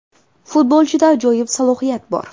Futbolchida ajoyib salohiyatlar bor.